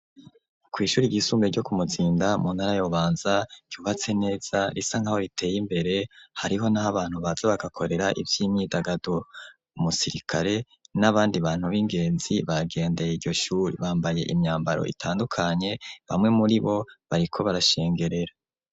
Kw' Ishuri ry'isumbe ryo ku mutsinda ,muntara ya Bubanza ,ryubatse neza risankaho riteye imbere ,hariho, n'aho abantu baze bagakorera ivy'imyidagaduro, umusirikare ,n'abandi bantu b'ingenzi, bagendeye iryoshuri ,bambaye imyambaro itandukanye ,bamwe muri bo ,bariko barashengerera.